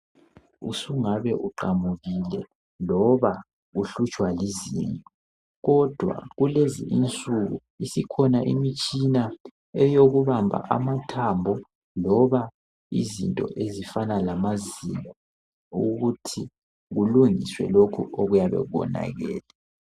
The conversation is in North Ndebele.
Usungabe uqamukile loba uhlutshwa izinyo kodwa kulezinsuku isikhona mitshina eyokubamba amathambo loba izinto ezifana lamazinyo ukuthi kulungisiwe lokhu okuyabe konakele.